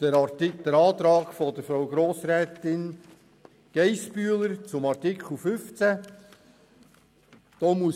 Danach folgt der Antrag von Grossrätin Geissbühler zu Artikel 15: